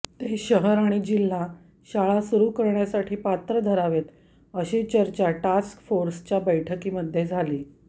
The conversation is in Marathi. ते शहर आणि जिल्हा शाळा सुरु करण्यासाठी पात्र धरावेत अशी चर्चा टास्क फोर्सच्या बैठकीमध्ये झाली